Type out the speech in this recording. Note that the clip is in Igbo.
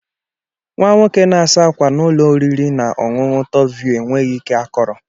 Nwa nwoke na-asa ákwà na ụlọ oriri na ọṅụṅụ top view enweghị ike akọrọ.